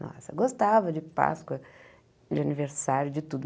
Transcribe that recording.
Nossa, gostava de Páscoa, de aniversário, de tudo.